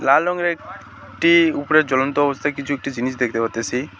লাল রঙের এক টি উপরে চলন্ত অবস্থায় কিছু একটি জিনিস দেখতে পারতেসি।